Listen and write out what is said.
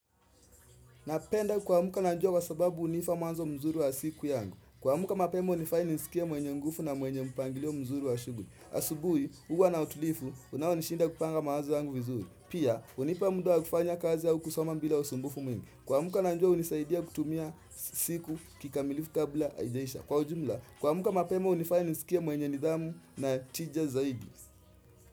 Napenda kuamka na jua kwa sababu hunipa mwanzo mzuri wa siku yangu. Kuamka mapema hunifanya nijisikie mwenye nguvu na mwenye mpangilio mzuri wa shughuli. Asubuhi huwa na utulivu unaonishinda kupanga mawazo yangu vizuri. Pia hunipa muda wa kufanya kazi au kusoma bila usumbufu mwingi. Kuamka na jua hunisaidia kutumia siku kikamilifu kabla haijaisha. Kwa ujumla kuamka mapema hunifanya nisikie mwenye nidhamu na tija zaidi.